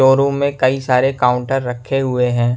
वो रूम में कइ सारे काउंटर रखे हुए है।